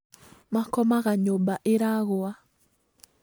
Makomaga nyũmba iragũa